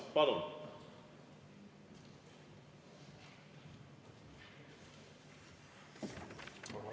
Palun!